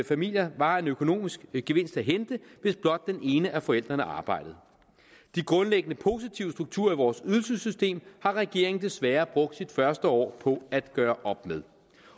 familier var en økonomisk gevinst at hente hvis blot den ene af forældrene arbejdede de grundlæggende positive strukturer i vores ydelsessystem har regeringen desværre brugt sit første år på at gøre op med